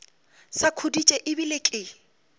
sa khuditše e bile ke